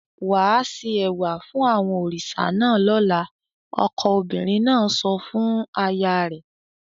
"Wà á se ẹ̀wà fún àwọn òrìṣà náà lọ́la!" Ọkọ obìnrin náà sọ fún aya rẹ̀.